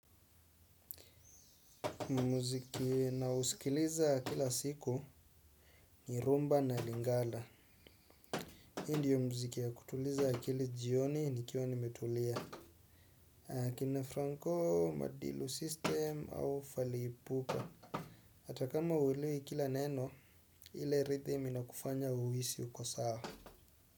Muziki nausikiliza kila siku ni rhumba na lingala. Hii ndiyo muziki ya kutuliza akili jioni nikiwa nimetulia. Kina Franco, Madilu System au Fally Ipupa. Hata kama huelewi kila neno ile rhythm inakufanya uhisi uko sawa.